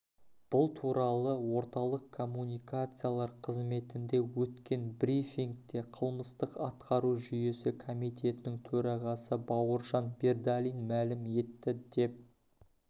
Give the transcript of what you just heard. бұл туралы орталық коммуникациялар қызметінде өткен брифингте қылмыстық-атқару жүйесі комитетінің төрағасы бауыржан бердалин мәлім етті деп